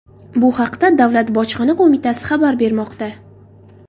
Bu haqda Davlat bojxona qo‘mitasi xabar bermoqda .